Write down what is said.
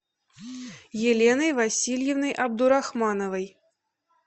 еленой васильевной абдурахмановой